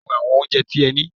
Jẹ́ kí n wo àwọn oúnjẹ tí ẹ ní!